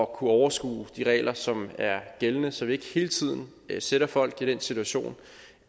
kunne overskue de regler som er gældende så vi ikke hele tiden sætter folk i den situation